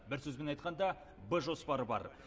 бір сөзбен айтқанда б жоспары бар